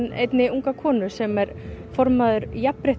einnig unga konu sem sem er formaður